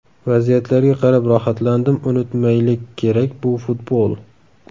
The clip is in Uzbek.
Vaziyatlarga qarab rohatlandim, unutmaylik kerak, bu futbol.